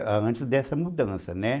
É, antes dessa mudança, né?